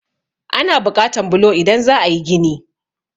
Ana buƙatan bulo idan za a yí gini.